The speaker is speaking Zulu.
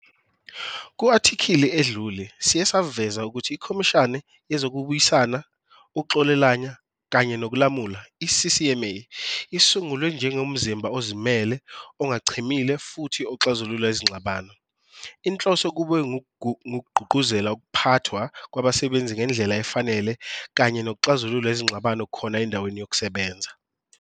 Ku-athikhili edlule siye saveza ukuthi iKhomishani yeZokubuyisana, Ukuxolelana kanye nokuLamula, i-CCMA, isungulwe njengomzimba ozimele, ongachemile futhi oxazulula izingxabano. Inhloso kube ngukugqugquzela ukuphathwa kwabasebenzi ngendlela efanele kanye nokuxazulula izingxabano khona endaweni yokusebenza.